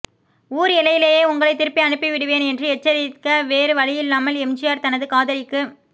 ஊர் எல்லையிலேயே உங்களை திருப்பி அனுப்பி விடுவேன் என்று எச்சரிக்க வேறு வழியில்லாமல் எம்ஜிஆர் தனது காதலிக்கு